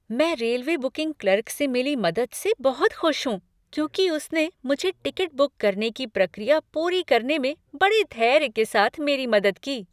मैं railway booking clerk से मिली मदद से बहुत खुश हूं क्योंकि उसने मुझे टिकट बुक करने की प्रक्रिया पूरी करने में बड़े धैर्य के साथ मेरी मदद की।